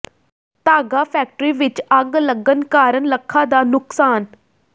ਧਾਗਾ ਫੈਕਟਰੀ ਵਿੱਚ ਅੱਗ ਲੱਗਣ ਕਾਰਨ ਲੱਖਾਂ ਦਾ ਨੁਕਸਾਨ